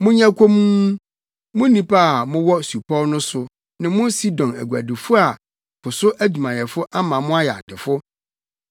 Monyɛ komm, mo nnipa a mowɔ supɔw no so ne mo Sidon aguadifo a po so adwumayɛfo ama mo ayɛ adefo.